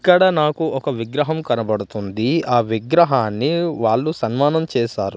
ఇక్కడ నాకు ఒక విగ్రహం కనబడుతుంది ఆ విగ్రహాన్ని వాళ్ళు సన్మానం చేశారు.